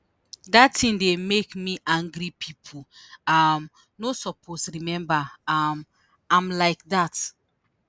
dat tin dey make me angry pipo um no suppose remember um am like dat